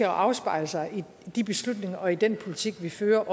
afspejle sig i de beslutninger og i den politik vi fører